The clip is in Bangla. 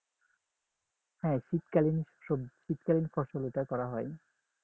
হ্যাঁ শীতকালীন সব শীতকালীন ফসল এটা করা হয়